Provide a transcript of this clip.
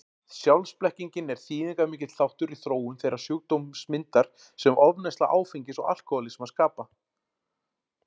Sjálfsblekkingin er þýðingarmikill þáttur í þróun þeirrar sjúkdómsmyndar sem ofneysla áfengis og alkohólismi skapa.